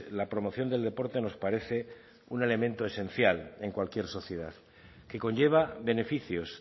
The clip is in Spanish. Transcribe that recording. la promoción del deporte nos parece un elemento esencial en cualquier sociedad que conlleva beneficios